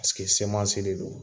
Paseke semansi de do